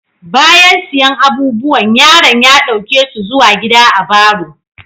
Bayan siyan abubuwan, yaron ya dauke su zuwa gida a'barro.